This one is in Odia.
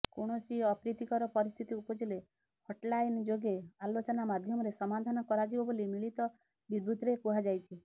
କୌଣସି ଅପ୍ରୀତିକର ପରିସ୍ଥିତି ଉପୁଜିଲେ ହଟ୍ଲାଇନ୍ ଯୋଗେ ଆଲୋଚନା ମାଧ୍ୟମରେ ସମାଧାନ କରାଯିବ ବୋଲି ମିଳିତ ବିବୃତିରେ କୁହାଯାଇଛି